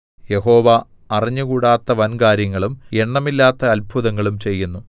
യഹോവ അറിഞ്ഞുകൂടാത്ത വൻകാര്യങ്ങളും എണ്ണമില്ലാത്ത അത്ഭുതങ്ങളും ചെയ്യുന്നു